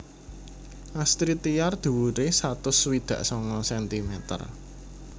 Astrid Tiar dhuwuré satus swidak sanga sentimeter